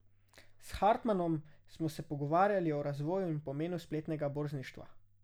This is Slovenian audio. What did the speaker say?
S Hartmanom smo se pogovarjali o razvoju in pomenu spletnega borzništva.